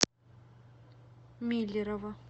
миллерово